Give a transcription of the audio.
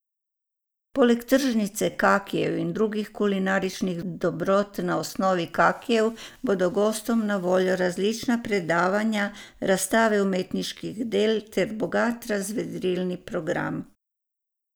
Poleg tržnice kakijev in drugih kulinaričnih dobrot na osnovi kakijev bodo gostom na voljo različna predavanja, razstave umetniških del ter bogat razvedrilni program.